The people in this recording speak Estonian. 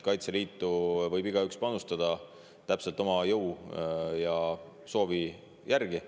Kaitseliitu võib igaüks panustada täpselt oma jõu ja soovi järgi.